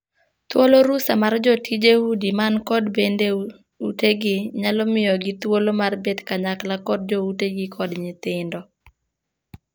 Thuolo rusa mar jotije udi man kod bende utegi nyalo miyogi thuolo mar bet kanyakla kod jo utegi kod nyithindo.